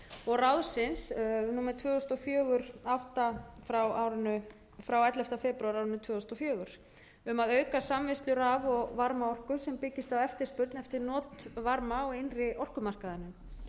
og ráðsins númer tvö þúsund og fjögur átta e b frá ellefti febrúar tvö þúsund og fjögur um að auka samvinnslu raf og varmaorku sem byggist á eftirspurn eftir notvarma á innri orkumarkaðinum